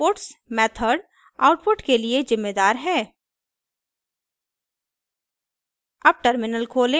for loop में घोषित puts method output के लिए जिम्मेदार है